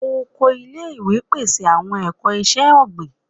Oko ile-iwe pese awọn ẹkọ iṣẹ-ogbin